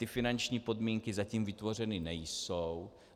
Ty finanční podmínky zatím vytvořeny nejsou.